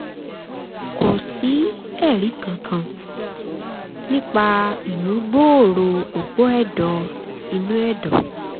kò sí ẹ̀rí kankan nípa ìmúgbòòrò òpó ẹ̀dọ̀ inú ẹ̀dọ̀